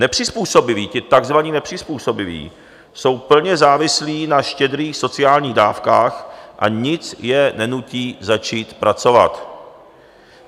Nepřizpůsobiví, ti takzvaní nepřizpůsobiví jsou plně závislí na štědrých sociální dávkách a nic je nenutí začít pracovat.